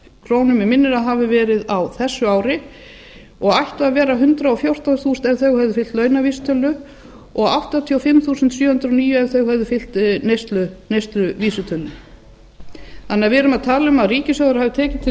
krónur að mig minnir á þessu ári en ættu að vera hundrað og fjórtán þúsund ef þau hefðu fylgt launavísitölu og áttatíu og fimm þúsund sjö hundruð og níu ef þau hefðu fylgt neysluvísitölunni við erum því að tala um að ríkissjóður hafi tekið til